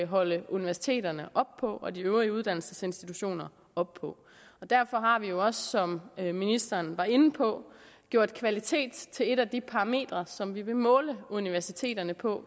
holde universiteterne og de øvrige uddannelsesinstitutioner op på derfor har vi jo også som ministeren var inde på gjort kvalitet til et af de parametre som vi vil måle universiteterne på